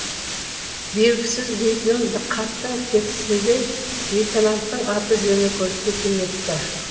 белгісіз дейтінім қаттың текстінде лейтенанттың аты жөні көрсетілмепті